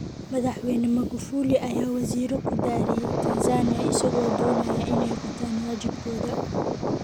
Madaxweyne Magufuli ayaa wasiiro ku dhaariyay Tanzania, isagoo doonaya inay gutaan waajibaadkooda